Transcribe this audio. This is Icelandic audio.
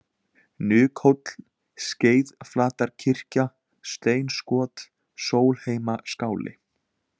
Nykhóll, Skeiðflatarkirkja, Steinskot, Sólheimaskáli